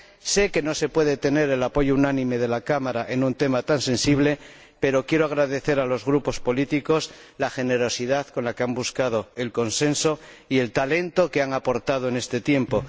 Sé que no se puede tener el apoyo unánime de la Cámara en un tema tan sensible, pero quiero agradecer a los Grupos políticos la generosidad con la que han buscado el consenso y el talento que han aportado en este tiempo